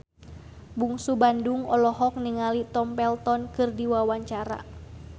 Bungsu Bandung olohok ningali Tom Felton keur diwawancara